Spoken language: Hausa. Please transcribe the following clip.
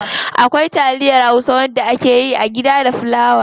Akwai taliyar hausa wacce akeyi a gida da fulawa.